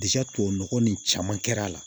tubabu nɔgɔ nin caman kɛra a la